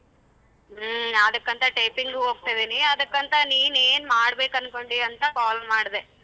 ಹ್ಮ್. ಅದಕ್ಕಂತ typing ಉ ಹೋಗ್ತಾ ಇದೀನಿ ಅದಕ್ಕಂತ ನೀನ್ ಏನ್ ಮಾಡಬೇಕ್ ಅನ್ಕೊಂಡಿ ಅಂತ call ಮಾಡದೆ.